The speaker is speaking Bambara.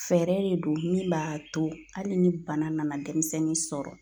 Fɛɛrɛ de don min b'a to hali ni bana nana dɛmisɛnnin sɔrɔ